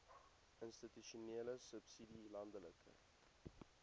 institusionele subsidie landelike